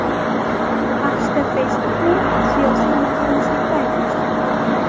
AQShda Facebook’ni siyosiy noxolislikda ayblashdi.